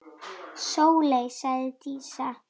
Sóley, sagði Dísa.